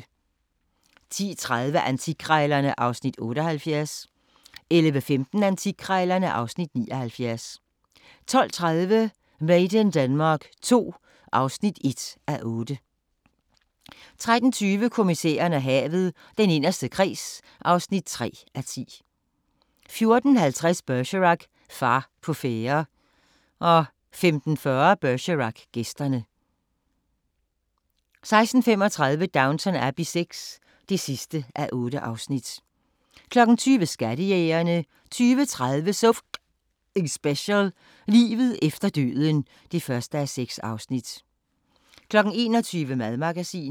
10:30: Antikkrejlerne (Afs. 78) 11:15: Antikkrejlerne (Afs. 79) 12:30: Made in Denmark II (1:8) 13:20: Kommissæren og havet: Den inderste kreds (3:10) 14:50: Bergerac: Far på færde 15:40: Bergerac: Gæsterne 16:35: Downton Abbey VI (8:8) 20:00: Skattejægerne 20:30: So F***ing Special: Livet efter døden (1:6) 21:00: Madmagasinet